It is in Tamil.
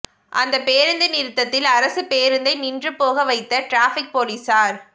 அந்தப் பேருந்து நிறுத்தத்தில் அரசுப் பேருந்தை நின்றுபோக வைத்த டிராஃபிக் போலீஸார்